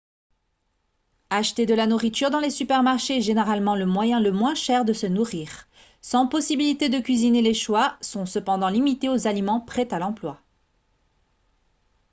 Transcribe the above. acheter de la nourriture dans les supermarchés est généralement le moyen le moins cher de se nourrir sans possibilité de cuisiner les choix sont cependant limités aux aliments prêts à l'emploi